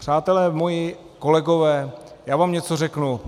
Přátelé moji, kolegové, já vám něco řeknu.